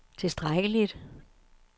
tilstrækkeligt